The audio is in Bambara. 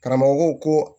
Karamɔgɔ ko ko